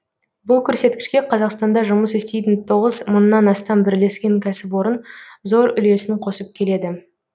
бұл көрсеткішке қазақстанда жұмыс істейтін тоғыз мыңнан астам бірлескен кәсіпорын зор үлесін қосып келеді